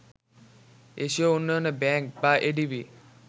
এশীয় উন্নয়ন ব্যাংক বা এডিবি